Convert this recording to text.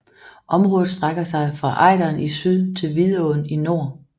Området strækker sig fra Ejderen i syd til Vidåen i nord